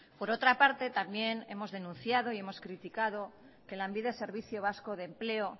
por otra parte también hemos denunciado y hemos criticado que lanbide servicio vasco de empleo